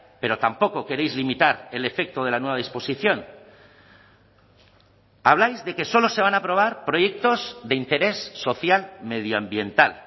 pero tampoco queréis limitar el efecto de la nueva disposición habláis de que solo se van a aprobar proyectos de interés social medioambiental